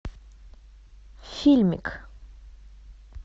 фильмик